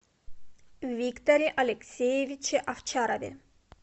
викторе алексеевиче овчарове